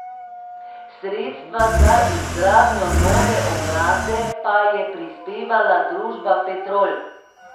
Sredstva za izgradnjo nove ograde pa je prispevala družba Petrol.